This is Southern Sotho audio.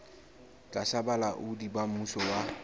tlasa bolaodi ba mmuso wa